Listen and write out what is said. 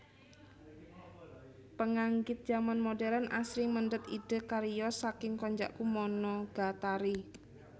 Penganggit zaman modern asring mendhet idé cariyos saking Konjaku Monogatari